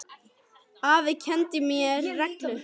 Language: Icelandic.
Afi kenndi mér reglu.